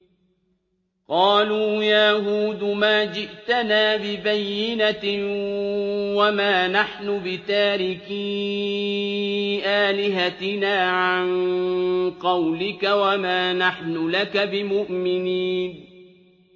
قَالُوا يَا هُودُ مَا جِئْتَنَا بِبَيِّنَةٍ وَمَا نَحْنُ بِتَارِكِي آلِهَتِنَا عَن قَوْلِكَ وَمَا نَحْنُ لَكَ بِمُؤْمِنِينَ